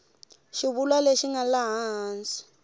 xivulwa lexi nga laha hansi